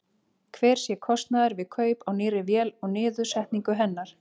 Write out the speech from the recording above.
Hver sé kostnaður við kaup á nýrri vél og niðursetningu hennar?